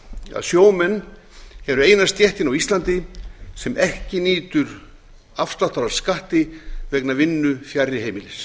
að sjómenn eru eina stéttin á íslandi sem ekki nýtur afsláttar á skatti vegna vinnu fjarri heimilis